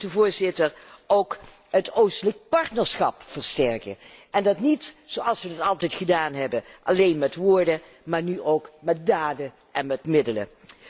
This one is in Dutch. Wij moeten ook het oostelijk partnerschap versterken en dat niet, zoals wij altijd gedaan hebben, alleen met woorden, maar nu ook met daden en middelen.